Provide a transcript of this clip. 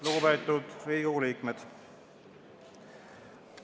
Lugupeetud Riigikogu liikmed!